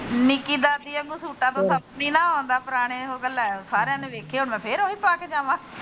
ਨੀਕੀ ਦਾਦੀ ਸੂਟਾ ਤੋ ਸੱਪ ਨੀ ਨਾ ਆਉਂਦਾ ਪੁਰਾਣੇ ਹੋਗੇ ਲੈ ਸਾਰਿਆਂ ਨੇ ਵੇਖੇ ਫਿਰ ਹੁਣ ਫੈਰ ਉਹੀ ਪਾਕਾ ਜਾਵਾ।